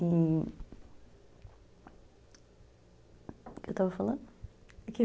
E... O que eu estava falando?